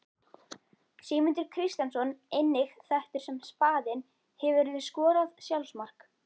Sigmundur Kristjánsson einnig þekktur sem Spaðinn Hefurðu skorað sjálfsmark?